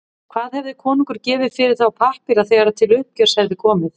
Hvað hefði konungur gefið fyrir þá pappíra þegar til uppgjörs hefði komið?